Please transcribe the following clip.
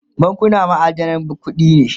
bankuna ma'adanan kuɗi ne